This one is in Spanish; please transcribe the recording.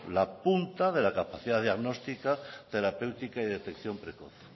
la punta de la capacidad diagnóstica terapéutica y detección precoz